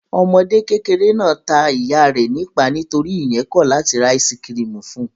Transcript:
Ọmọdékùnrin kékeré náà ta ìyá rẹ̀ nípàá nítorí ìyẹn kọ̀ láti ra áísí-kirìmì fún un.